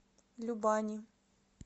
любани